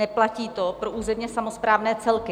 Neplatí to pro územní samosprávné celky.